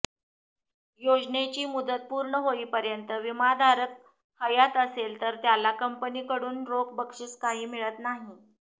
योजनेची मुदत पूर्ण होईपर्यंत विमाधारक हयात असेल तर त्याला कंपनीकडून रोख बक्षीस काही मिळत नाही